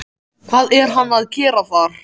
Hvað er hann að gera þar?